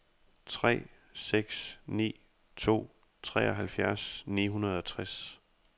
tre seks ni to treoghalvfjerds ni hundrede og tres